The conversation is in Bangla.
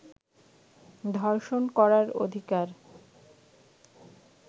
ধর্ষণ করার অধিকার